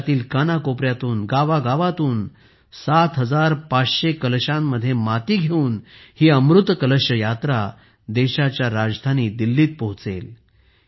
देशातील कानाकोपऱ्यातून गावागावांतून 7500 कलशांमध्ये माती घेऊन ही अमृत कलश यात्रा देशाच्या राजधानी दिल्लीत पोहोचेल